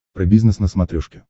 про бизнес на смотрешке